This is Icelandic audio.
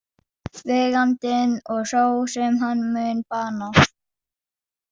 Vegandinn og sá sem hann mun bana.